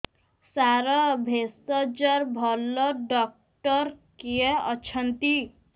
ସାର ଭେଷଜର ଭଲ ଡକ୍ଟର କିଏ ଅଛନ୍ତି